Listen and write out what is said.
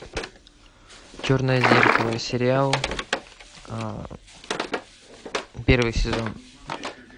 черное зеркало сериал первый сезон